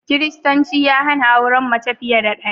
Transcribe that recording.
Kiristanci ya hana auren mace fiye da ɗaya